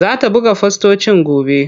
Zata buga fostocin gobe.